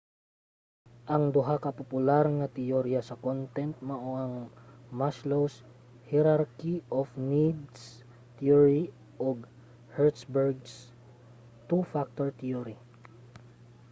ang duha ka popular nga teyorya sa content mao ang maslow's hierarchy of needs theory ug hertzberg's two factor theory